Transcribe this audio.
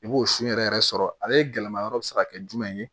I b'o sun yɛrɛ yɛrɛ sɔrɔ ale gɛlɛma yɔrɔ bɛ se ka kɛ jumɛn ye